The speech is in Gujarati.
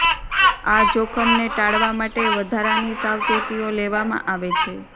આ જોખમને ટાળવા માટે વધારાની સાવચેતીઓ લેવામાં આવે છે